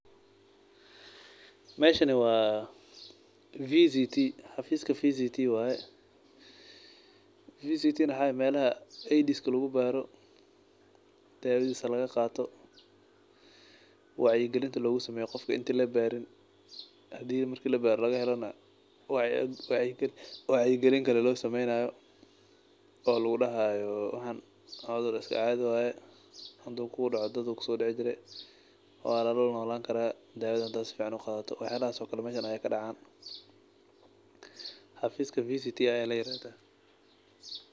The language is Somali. Meeshan waa meesha xafiiska aids lagu baaro dawadiisa laga qaato wacyi galin loo sameeyo inta weli labaarin hadana marka laga helo wacyi galin kale lasiiyo xafiiskan kaas waye.